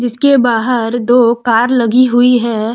इसके बाहर दो कार लगी हुई है।